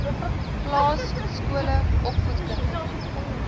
plaas skole opvoedk